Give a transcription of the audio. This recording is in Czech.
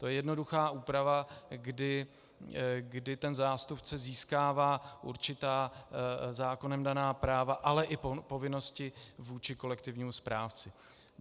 To je jednoduchá úprava, kdy ten zástupce získává určitá zákonem daná práva, ale i povinnosti vůči kolektivnímu správci.